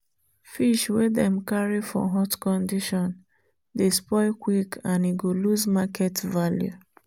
fish wey dem carry for hot condition dey spoil quick and e go lose market value.